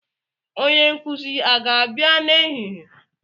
Onye nkuzi aga-abịa n'ehihie?